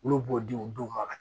Olu b'o di u denw ma ka